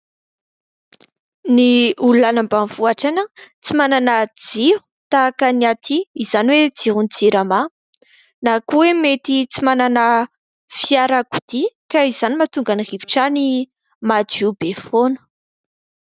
Ny olona any ambanivohitra any tsy manana jiro tahaka ny aty izany hoe jiron'ny jirama, na koa hoe mety tsy manana fiarakodia ka izany no mahatonga ny rivotra any madio be foana.